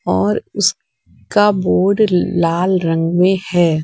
और उस का बोर्ड लाल रंग में है।